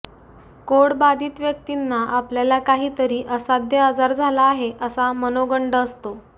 code बाधित व्यक्तींना आपल्याला काहीतरी असाध्य आजार झाला आहे असा मनोगंड आसतो